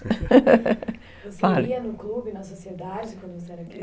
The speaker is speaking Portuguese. Você ia no clube, na sociedade, quando você era criança?